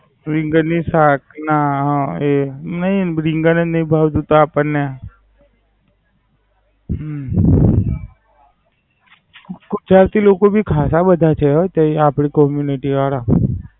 રીંગણની શાક ના અમ એ નઈ રીંગણ જ નાઈ ભાવતું આપણ ને. હમ ત્યાંથી બધા ખાતા બો જોયા તે આપડી Community વાળા.